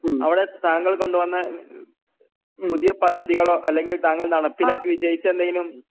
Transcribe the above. അവടെ താങ്കൾ കൊണ്ടുവന്ന ഉം പുതിയ പദ്ധതികളോ അല്ലെങ്കിൽ താങ്കൾ നടപ്പിലാക്കി വിജയിച്ച എന്തെങ്കിലും?